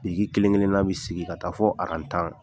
Biriki kelen kelenna bɛ sigi ka taa fɔ aran tan.